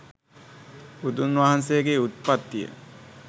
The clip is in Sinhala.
බුදුන් වහන්සේගේ උත්පත්තිය